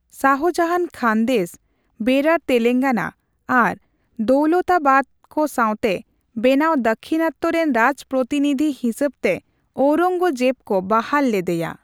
ᱥᱟᱦᱡᱟᱦᱟᱱ ᱠᱷᱟᱱᱫᱮᱥ, ᱵᱮᱨᱟᱨ ᱛᱮᱞᱮᱝᱜᱟᱱᱟ ᱟᱨ ᱫᱟᱹᱞᱛᱟᱵᱟᱫᱮᱨ ᱠᱚ ᱥᱟᱣᱛᱮ ᱵᱮᱱᱟᱣ ᱫᱟᱠᱷᱤᱱᱟᱛ ᱨᱮᱱ ᱨᱟᱡᱯᱨᱛᱤᱱᱤᱫᱷᱤ ᱦᱤᱥᱟᱹᱵ ᱛᱮ ᱳᱨᱝᱜᱡᱮᱵ ᱠᱚ ᱵᱟᱦᱟᱞ ᱞᱮᱫᱮᱭᱟ ᱾